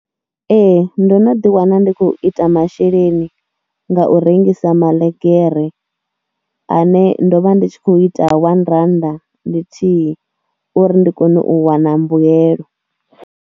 Ee ndo no ḓiwana ndi khou ita masheleni nga u rengisa maḽegere ane ndo vha ndi tshi khou ita wanirannda ḽithihi uri ndi kone u wana mbuyelo.